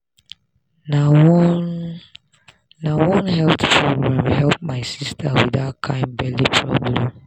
na one na one health program help my sister with that kind belly problem.